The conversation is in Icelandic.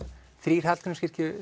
þrír